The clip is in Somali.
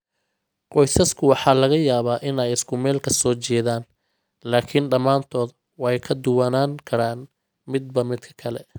Qoysasku waa laga yaabaa in ay isku meel ka soo jeedaan, laakiin dhammaantood way ka duwanaan karaan midba midka kale.